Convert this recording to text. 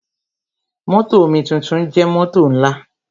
Mótò omituntun jẹ́ mótò ńlá.